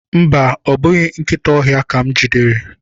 Mba, ọ bụghị nkịta ọhịa ka m jidere.